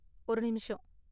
ஒரு நிமிஷம்.